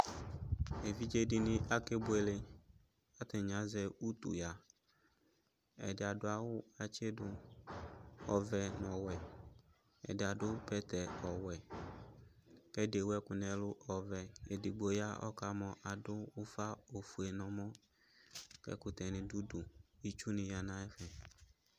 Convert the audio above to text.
evidzini akebuele atani azɛ utuya ɛdiaduawu atsidu ɔvɛ nʋ ɔwɛ adiadu bɛtɛ ɔwɛ kɛdewʋɛkʋ nɛlʋ ɔvɛ ɛdigbo ya ɔkamɔ adufa ofuenɛmɔ kɛ ɛkʋtɛ nidu udu itsuniya nay